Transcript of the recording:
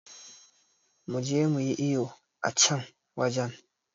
Muje muyi iyo a can wajen